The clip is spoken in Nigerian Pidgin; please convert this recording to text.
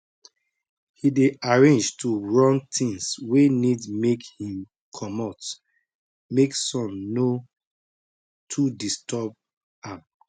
he dey arrange to run things wey need make him comot make sun no too disturb am